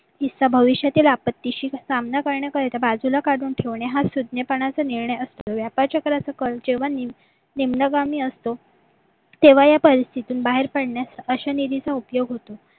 भविष्यातील आपत्तीशी सामना करण्याकरिता बाजूला काढून ठेवणे हा सभ्यपणाचा निर्णय असून अ चक्राचा कळ जेव्हा निम्म असून निम्म्यागामी असतो तेव्हा या परिस्थितीतून बाहेर पडण्यास अशा निधीचा उपयोग होतो